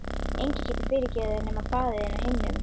Enginn getur fyrirgefið þér nema faðir þinn á himnum.